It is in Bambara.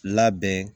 Labɛn